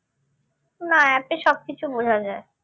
না app এ সবকিছু বোঝা যায়